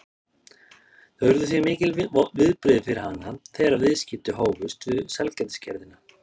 Það urðu því mikil viðbrigði fyrir hana þegar viðskipti hófust við sælgætisgerðina